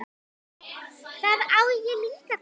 Það á ég líka til.